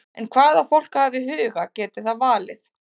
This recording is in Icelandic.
En hvað á fólk að hafa í huga geti það valið?